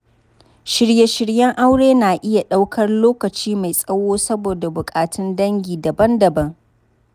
Shirye-shiryen aure na iya ɗaukar lokaci mai tsawo saboda bukatun dangi daban-daban.